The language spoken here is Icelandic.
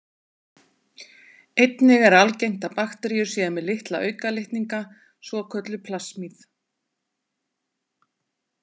Einnig er algengt að bakteríur séu með litla aukalitninga, svokölluð plasmíð.